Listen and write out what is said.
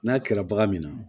N'a kɛra bagan min na